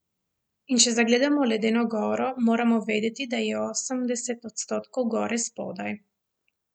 In če zagledamo ledeno goro, moramo vedeti, da je osemdeset odstotkov gore spodaj.